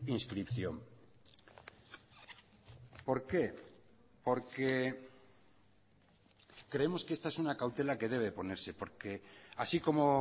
inscripción por qué porque creemos que esta es una cautela que debe ponerse porque así como